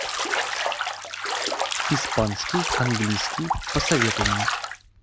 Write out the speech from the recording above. испанский английский посоветуй мне